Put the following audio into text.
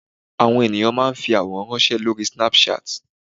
àwọn ènìyàn ma n fi aworan ranṣẹ Lori Snapchat